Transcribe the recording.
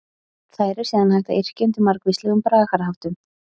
Þær er síðan hægt að yrkja undir margvíslegum bragarháttum.